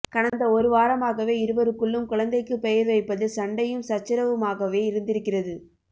கடந்த ஒரு வாரமாகவே இருவருக்குள்ளும் குழந்தைக்குப் பெயர் வைப்பதில் சண்டையும் சச்சரவுமாகவே இருந்திருக்கிறது